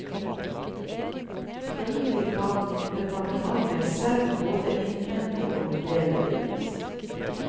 Følgelig kan departementet selv både innhente og vurdere bevis.